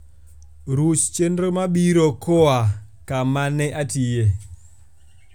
ruch chenro mabiro koa e kama ne atiye